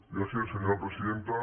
gràcies senyora presidenta